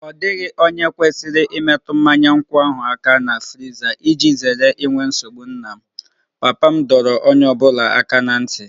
Ọ dịghị onye kwesịrị imetụ mmanya nkwụ ahụ aka na friza iji zere inwe nsogbu na m, papa m dọrọ onye ọ bụla aka ná ntị